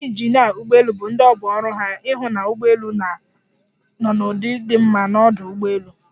Ndị injinịa ụgbọelu bụ ndị ọ bụ ọrụ ha ịhụ na ụgbọelu nọ n'ụdị di mma n'ọdụ ụgbọelu.